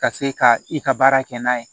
Ka se ka i ka baara kɛ n'a ye